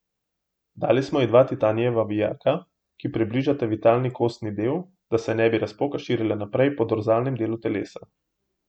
Dali smo ji dva titanijeva vijaka, ki približata vitalni kostni del, da se ne bi razpoka širila naprej po dorzalnem delu telesa.